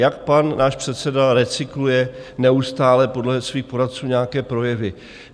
Jak pan náš předseda recykluje neustále podle svých poradců nějaké projevy.